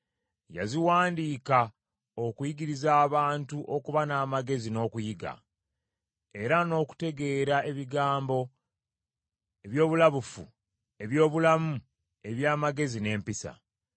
Yaziwandiika okuyigiriza abantu okuba n’amagezi n’okuyiga, era n’okutegeera ebigambo eby’obulabufu; eby’obulamu eby’amagezi n’empisa.